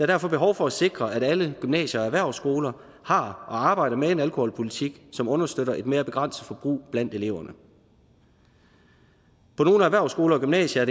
derfor behov for at sikre at alle gymnasier og erhvervsskoler har og arbejder med en alkoholpolitik som understøtter et mere begrænset forbrug blandt eleverne på nogle erhvervsskoler og gymnasier